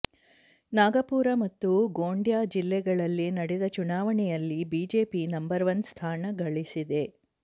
ನಾಗಪುರ ಮತ್ತು ಗೋಂಡ್ಯಾ ಜಿಲ್ಲೆಗಳಲ್ಲಿ ನಡೆದ ಚುನಾವಣೆಯಲ್ಲಿ ಬಿಜೆಪಿ ನಂಬರ್ ಒನ್ ಸ್ಥಾನ ಗಳಿಸಿದೆ